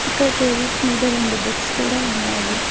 ఇక్కడ టేబుల్స్ మీద రెండు బుక్స్ కూడా ఉన్నాయి.